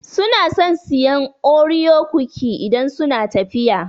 Su na son sayan Oreo cookie idan suna tafiya